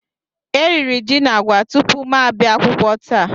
E riri ji na agwa tupu m abịa akwụkwọ taa